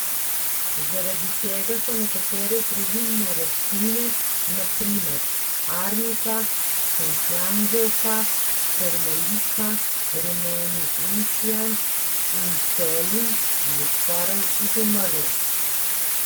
Zaradi tega so nekatere zdravilne rastline, na primer arnika, šentjanževka, hermelika, rumeni encijan in pelin, že skoraj izumrle.